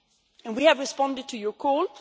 And we have responded to your call.